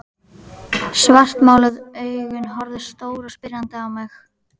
Svartmáluð augun horfðu stór og spyrjandi á mig.